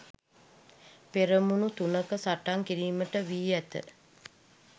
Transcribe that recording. පෙරමුණු තුනක සටන් කිරීමට වී ඇත.